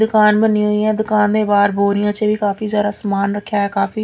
ਦੁਕਾਨ ਬੰਨੀ ਹੋਈ ਹੈ ਦੁਕਾਨ ਦੇ ਬਾਹਰ ਬੋਰੀਆਂ ਚ ਵੀ ਕਾਫੀ ਸਾਰਾ ਸਮਾਨ ਰੱਖਿਆ ਐ ਕਾਫੀ--